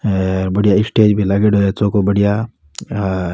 हेर बढ़िया स्टेज भी लाग्योड़ो है चोखो बढ़िया हे अ --